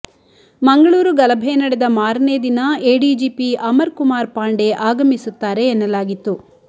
ಮಂಗಳೂರು ಗಲಭೆ ನಡೆದ ಮಾರನೇ ದಿನ ಎಡಿಜಿಪಿ ಅಮರ್ ಕುಮಾರ್ ಪಾಂಡೆ ಆಗಮಿಸುತ್ತಾರೆ ಎನ್ನಲಾಗಿತ್ತು